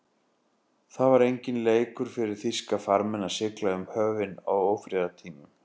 Það var enginn leikur fyrir þýska farmenn að sigla um höfin á ófriðartímum.